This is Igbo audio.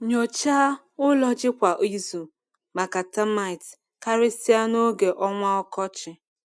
Nyochaa ụlọ ji kwa izu maka termite, karịsịa n’oge ọnwa ọkọchị.